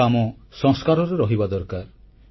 ଏହା ଆମ ସଂସ୍କାରରେ ରହିବା ଦରକାର